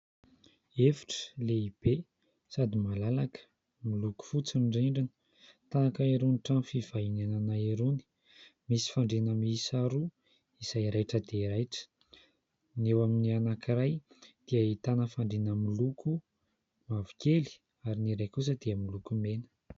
Efitra lehibe sady malalaka, miloko fotsy ny rindrina tahaka irony trano fivahinianana irony, misy fandriana miisa roa izay raitra dia raitra: ny eo amin'ny anankiray dia ahitana fandriana miloko mavokely ary ny iray kosa dia miloko mena.